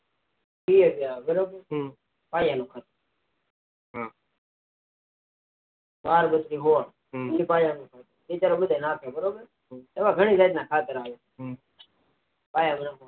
બે હજાર બરોબર થાય એનું ખાત ના થાય એવું ગણી જાતના ખાતર આવે હમ